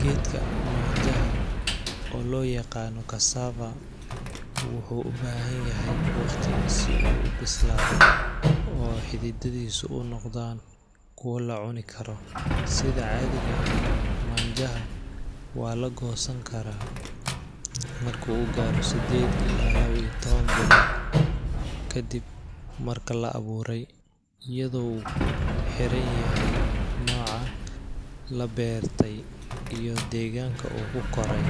Geedka maanjaha oo loo yaqaano cassava ,wuxuu ubahan yahay waqti si uu ubislaado oo xididadiisa unoqdaan kuwo lacuni karo, sida caadiga ah maanjaha waa lagoosan karaa marki uu gaaro sideed ilaa iyo laba iyo taban bilood kadib marki la abuure, iyado kuxiran yahay nooca labeerte iyo deeganka uu ku Kore,